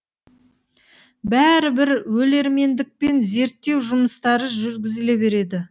бәрі бір өлермендікпен зерттеу жұмыстары жүргізіле берді